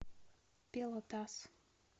пелотас